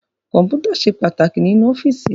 Kọ́mpútà ṣe pàtàkì nínú ọ́fíìsì